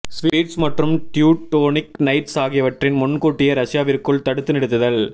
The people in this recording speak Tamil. ஸ்வீட்ஸ் மற்றும் ட்யூடோனிக் நைட்ஸ் ஆகியவற்றின் முன்கூட்டியே ரஷ்யாவிற்குள் தடுத்து நிறுத்துதல்